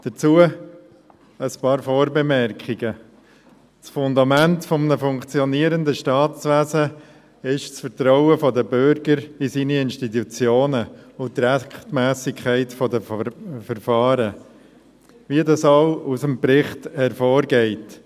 Dazu ein paar Vorbemerkungen: Das Fundament eines funktionierenden Staatswesens ist das Vertrauen der Bürger in ihre Institutionen und die Rechtsmässigkeit der Verfahren, wie dies aus dem Bericht hervorgeht.